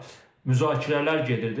Müzakirələr gedirdi.